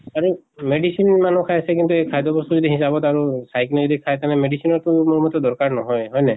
আৰু medicine মানুহ খাই আছে এই খাদ্য় বস্তু যদি হিচাপত আৰু চাই কিনে যদি খায় তেনেহলে medicine ৰ টো মোৰ মতে দৰ্কাৰ নহয়, হয় নাই?